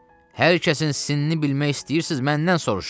Hər kəsin sinni bilmək istəyirsiz məndən soruşun.